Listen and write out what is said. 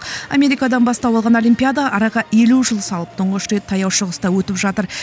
америкадан бастау алған олимпиада араға елу жыл салып тұңғыш рет таяу шығыста өтіп жатыр